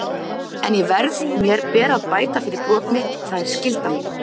en ég verð, mér ber að bæta fyrir brot mitt, það er skylda mín.